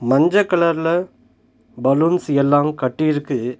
மஞ்ச கலர்ல பலூன்ஸ் எல்லாம் கட்டி இருக்கு.